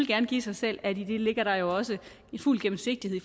gerne give sig selv at i det ligger der jo også fuld gennemsigtighed i